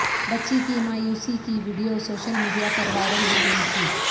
بچی کی مایوسی کی ویڈیو سوشل میڈیا پر وائرل ہو گئی تھی